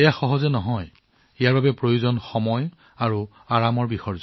এইটো সহজ নহব ইয়াত সময় আৰু আৰাম লাগিব